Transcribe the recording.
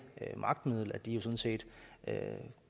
magtmiddel at de sådan set